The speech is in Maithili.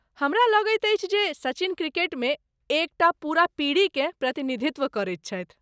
हमरा लगैत अछि जे ,सचिन क्रिकेटमे एक टा पूरा पीढ़ीकेँ प्रतिनिधित्व करैत छथि।